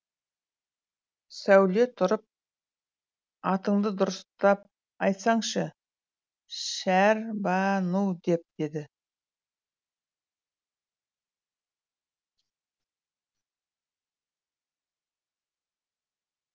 сәуле тұрып атыңды дұрыстап айтсаңшы шәр ба ну деп деді